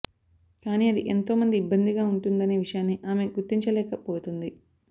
కాని అది ఎంతో మంది ఇబ్బందిగా ఉంటుందనే విషయాన్ని ఆమె గుర్తించలేక పోతుంది